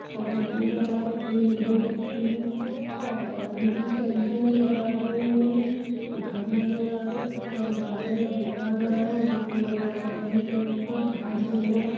एक दो तीन और पानी कि टंकी नजर आरही है घर नजर आ रहा है उपर बदल नजर आ रहा है वैट और आसमानी कलर का घास नहर आ रहा --